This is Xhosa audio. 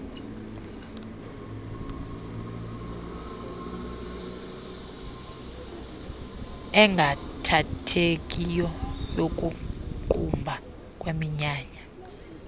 engaathethekiyo yokuqumba kweminyanya